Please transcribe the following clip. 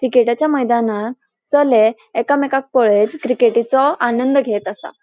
क्रीकेटाच्या मैदानार चले एकमेकांक पळेत क्रिकेटीचो आनंद घेत आसा.